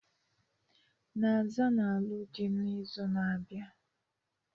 Naza na-alụ dị n'izu na-abịa.